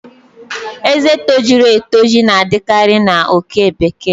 Ezé tojuru etoju na-adịkarị na oke bekee